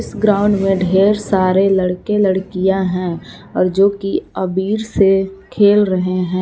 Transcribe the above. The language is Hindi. इस ग्राउंड में ढेर सारे लड़के लड़कियां हैं और जो की अबीर से खेल रहे हैं।